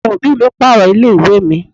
Àwọn òbí mi pààrọ̀ ilé ìwé mi.